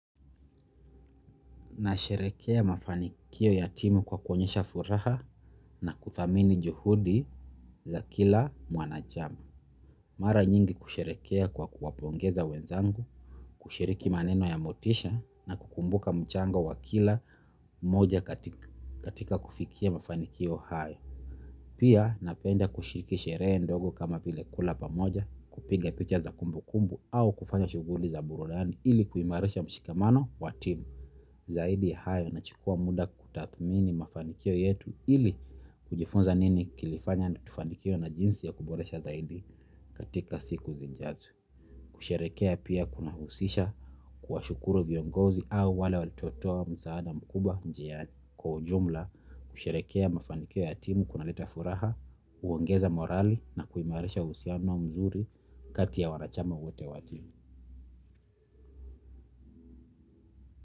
Nasherehekea mafanikio ya timu kwa kuonyesha furaha na kuthamini juhudi za kila mwanachama. Mara nyingi kusherehekea kwa kuwapongeza wenzangu, kushiriki maneno ya motisha na kukumbuka mchango wa kila mmoja katika kufikia mafanikio hayo. Pia napenda kushiriki sherehe ndogo kama vile kula pamoja, kupiga picha za kumbukumbu au kufanya shughuli za burudani ili kuimarisha mshikamano wa timu. Zaidi ya hayo nachukua muda kutathmini mafanikio yetu ili kujifunza nini kilifanya na tufanikiwe na jinsi ya kuboresha zaidi katika siku zinjazo. Kusherehekea pia kunahusisha kuwashukuru viongozi au wale walitoatoa msaada mkubwa njiani. Kwa ujumla kusherehekea mafanikio ya timu kunaleta furaha, uongeza morali na kuimarisha uhusiano mzuri kati ya wanachama wote wa timu.